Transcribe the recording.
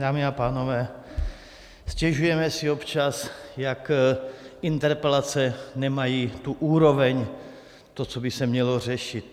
Dámy a pánové, stěžujeme si občas, jak interpelace nemají tu úroveň, to, co by se mělo řešit.